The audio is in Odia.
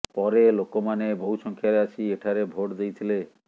ପରେ ଲୋକମାନେ ବହୁ ସଂଖ୍ୟାରେ ଆସି ଏଠାରେ ଭୋଟ୍ ଦେଇଥିଲେ